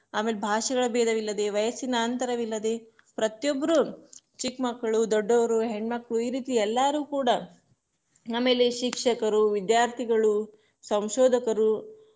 ಆಮೇಲೆ ಭಾಷೆಗಳ ಭೇದವಿಲ್ಲದೆ ವಯಸ್ಸಿನ ಅಂತರವಿಲ್ಲದೆ, ಪ್ರತಿಯೊಬ್ರು ಚಿಕ್ ಮಕ್ಕಳು, ದೊಡ್ಡವರು, ಹೆಣ್ಮಕ್ಳು ಈರೀತಿ ಎಲ್ಲಾರು ಕೂಡ, ಆಮೇಲೆ ಶಿಕ್ಷಕರು, ವಿದ್ಯಾರ್ಥಿಗಳು, ಸಂಶೋಧಕರು.